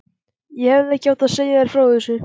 Ég hefði ekki átt að segja þér frá þessu